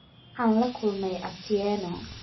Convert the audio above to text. Waxaan la kulmay Atieno